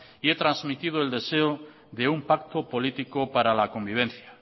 y he trasmitido el deseo de un pacto político para la convivencia